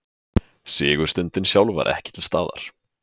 Sigurstundin sjálf var ekki til staðar